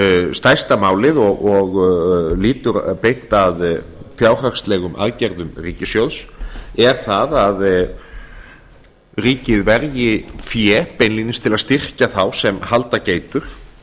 stærsta málið og lýtur beint að fjárhagslegum aðgerðum ríkissjóðs er það að ríkið verji fé beinlínis til að styrkja þá sem halda geitur